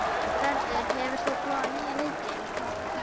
Vörður, hefur þú prófað nýja leikinn?